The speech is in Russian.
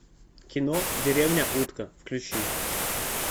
кино деревня утка включи